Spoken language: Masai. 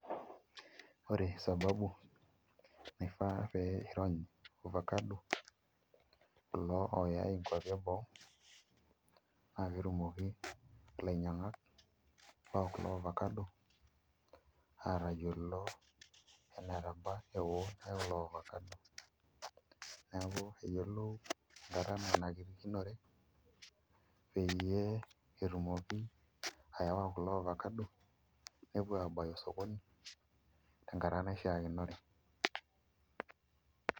Ore sababu naifaa pee iirony irvacado kulo ooyai nkuapi eboo naa peee etumoki ilainyiang'ak lo kulo ovacado aatayiolo enetaba eeon elelo ovacado, neeku eyiolou enkata nanarikinore peyie etumoki ayawa kulo avacado peyie etumoki aawa kulo ovacado pee epuo aabaya osokoni tenkata naishiakinore.